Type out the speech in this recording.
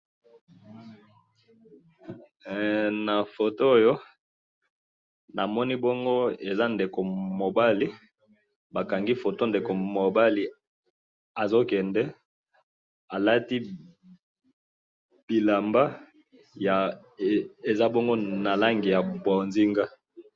Na moni mobali aza ko kende alati bilamba ya langi ya bozinga.